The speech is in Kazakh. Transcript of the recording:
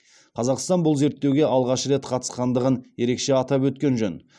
қазақстан бұл зерттеуге алғаш рет қатысқандығын ерекше атап өткен жөн